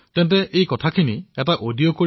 তেন্তে এটা অডিঅ বনাই